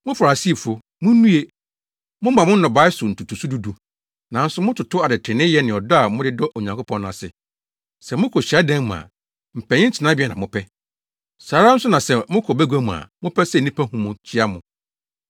“Mo Farisifo, munnue! Moma mo nnɔbae so ntotoso du du, nanso mototo adetreneeyɛ ne ɔdɔ a mode dɔ Onyankopɔn no ase. Sɛ mokɔ hyiadan mu a, mpanyin tenabea na mopɛ. Saa ara nso na sɛ mokɔ bagua mu a mopɛ sɛ nnipa hu mo kyia mo.